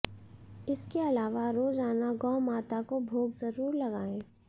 इसके अलावा रोजाना गौ माता को भोग जरूर लगाएं